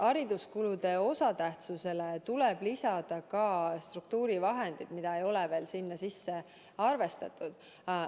Hariduskulude osatähtsusele tuleb lisada ka struktuurivahendid, mida ei ole veel sinna sisse arvestatud.